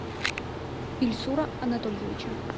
ильсура анатольевича